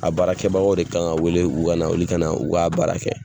A baarakɛbagaw de kan wele u ka na olu kana u ka baara kɛ